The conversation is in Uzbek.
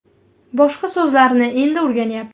Boshqa so‘zlarni endi o‘rganyapti.